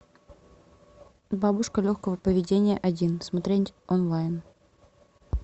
бабушка легкого поведения один смотреть онлайн